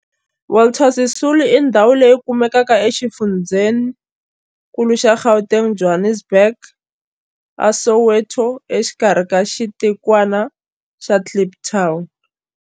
Walter Sisulu Square i ndhawu leyi kumekaka exifundzheninkulu xa Gauteng, Johannesburg, a Soweto, exikarhi ka xitikwana xa Kliptown.